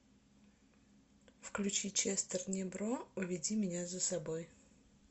включи честер небро уведи меня за собой